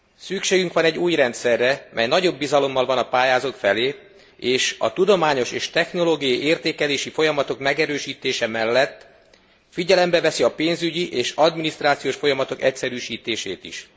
Szükségünk van egy új rendszerre, mely nagyobb bizalommal van a pályázók felé és a tudományos és technológiai értékelési folyamatok megerősítse mellett figyelembe veszi a pénzügyi és adminisztrációs folyamatok egyszerűsítését is.